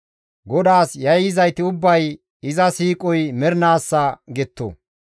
GODAAS yayyizayti ubbay, «Iza siiqoy mernaassa» getto.